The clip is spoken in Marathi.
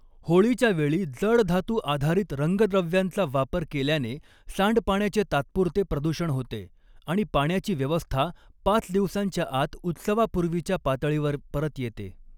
होळीच्या वेळी जड धातू आधारित रंगद्रव्यांचा वापर केल्याने सांडपाण्याचे तात्पुरते प्रदूषण होते, आणि पाण्याची व्यवस्था पाच दिवसांच्या आत उत्सवापूर्वीच्या पातळीवर परत येते.